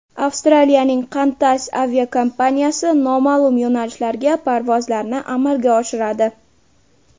Avstraliyaning Qantas aviakompaniyasi noma’lum yo‘nalishlarga parvozlarni amalga oshiradi.